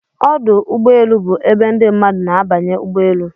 Ọdụ ụgbọelu bụ ebe ndị mmadụ na-abanye ụgbọ elu